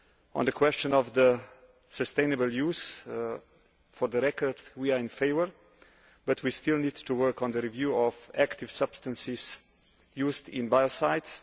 On the question of sustainable use for the record, we are in favour but we still need to work on the review of active substances used in biocides.